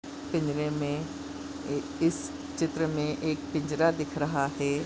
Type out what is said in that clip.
पिंजरे मे ए-इस चित्र मे एक पिंजरा दिख रहा है।